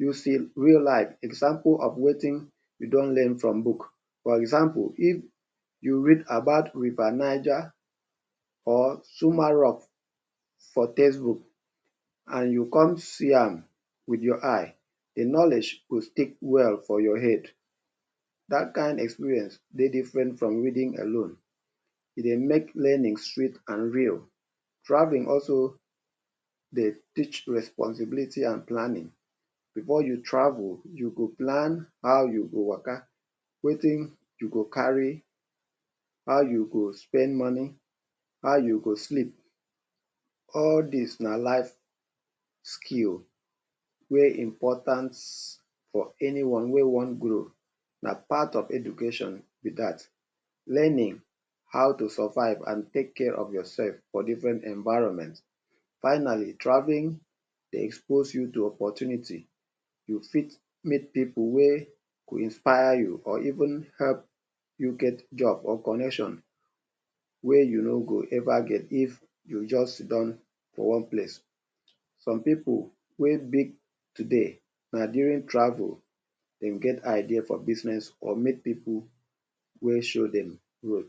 you see real life example of wetin you don learn from book. For example, if you read about River Niger or Zuma rock for textbook and you come see am wit your eye, de knowledge go stick well for your head. Dat kain experience dey different from reading alone, e dey make learning sweet and real. Traveling also dey teach responsibility and planning. Before you travel you go plan how you go waka, wetin you go carry, how you go spend money, how you go sleep. All dis na life skill wey important for anyone wey wan grow, na part of education be dat. Learning how to survive and take care of yourself for different environment. Finally, travelling de expose you to opportunity. You fit meet pipu wey go inspire you or even help you get job or connection wey you no go ever get if you just sidon for one place. Some pipu wey big today na during travel dem get idea for business or meet pipu wey show dem road.